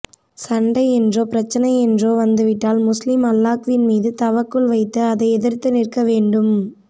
சண்டை என்றோ பிரச்சனை என்றோ வந்து விட்டால் முஸ்லிம் அல்லாஹ்வின் மீது தவக்குல் வைத்து அதை எதிர்த்து நிற்க வேண்டும்